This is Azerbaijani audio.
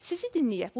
Sizi dinləyək.